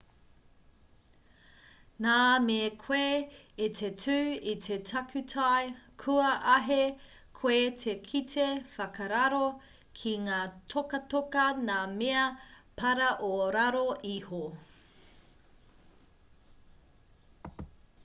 nā me koe i te tū i te takutai kua āhei koe te kite whakararo ki ngā tokatoka ngā mea para o raro iho